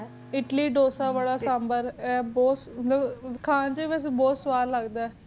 ਹੁਣ ਦਾ ਆ ਇਟਲੀ ਦਸਾ ਖਾਨ ਚ ਬੁਹਤ ਸਵਾਦ ਲਗ ਦਾ ਆਯ